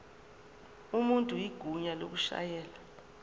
umuntu igunya lokushayela